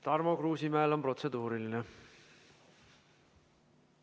Tarmo Kruusimäel on protseduuriline küsimus.